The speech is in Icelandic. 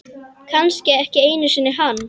Kannski ekki einu sinni hann.